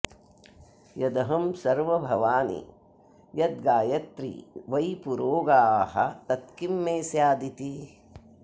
यदहं सर्वं भवानि यद्गायत्री वै पुरोगाः तत्किं मे स्यादिति